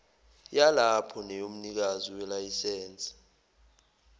yalapho neyomnikazi welayisense